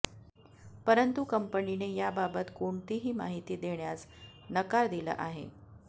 परंतु कंपनीने याबाबत कोणतीही माहिती देण्यास नकार दिला आहे